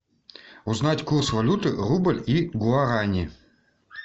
узнать курс валюты рубль и гуарани